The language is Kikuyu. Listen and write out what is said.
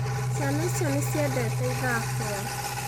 Ciana icio nĩciendete ithako